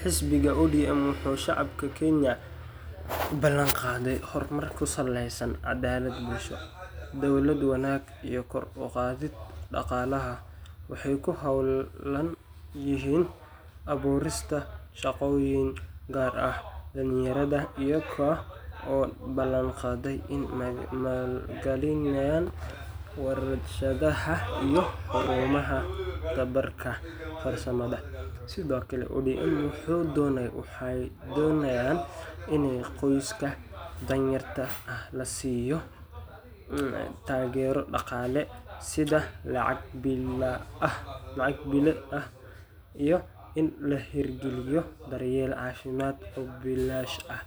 Xisbiga ODM wuxuu shacabka Kenya u ballanqaaday horumar ku saleysan cadaalad bulsho, dowlad wanaag, iyo kor u qaadidda dhaqaalaha. Waxay ku howlan yihiin abuurista shaqooyin gaar ahaan dhallinyarada, iyaga oo ballanqaaday inay maalgelinayaan warshadaha iyo xarumaha tababarka farsamada. Sidoo kale, ODM waxay doonayaan in qoysaska danyarta ah la siiyo taageero dhaqaale, sida lacag bille ah, iyo in la hirgeliyo daryeel caafimaad oo bilaash ah.